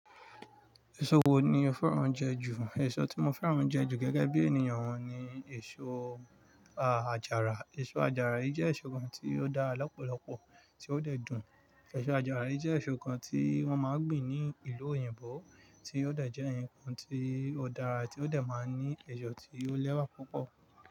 Èso wo ni o fẹ́ràn lati jẹ jù? Èso tí mo fẹ́ràn oúnjẹ jù gẹ́gẹ́ bí ènìyàn owun ni èso àjàrà. Èso àjàrà yìí jẹ́ èso kan tí ó dára lọ́pọ̀lọpọ̀ tí ó dẹ̀ dùn. Èso àjàrà yìí jẹ́ èso kan tí wón máa ń gbìn ní ìlú òyìnbó, tí ó dẹ̀ jẹ́ ǹkan tí ó dára tió de máa ní èso tí ó lẹ́wà púpọ̀